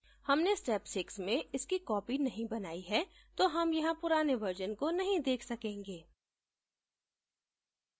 हमने step 6 में इसकी copy नहीं बनाई है तो हम यहाँ पुराने versions को नहीं देख सकेंगे